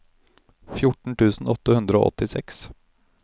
fjorten tusen åtte hundre og åttiseks